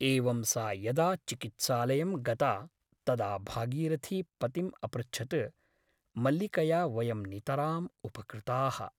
एवं सा यदा चिकित्सालयं गता तदा भागीरथी पतिम् अपृच्छत् मल्लिकया वयं नितराम् उपकृताः ।